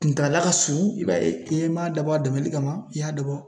Kuntaala ka surun i b'a ye i m'a dabɔ a dɛmɛli kama i y'a dabɔ